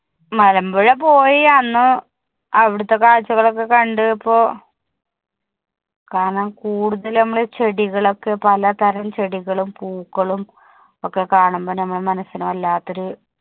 മലമ്പുഴ പോയി അന്ന് അവിടത്തെ കാഴ്ചകൾ ഒക്കെ കണ്ടപ്പോൾ കാരണം കൂടുതലും നമ്മള് ചെടികളും ഒക്കെ പല തരം ചെടികളും പൂക്കളും ഒക്കെ കാണുമ്പോൾ നമ്മുടെ മനസ്സിന് വല്ലാത്തൊരു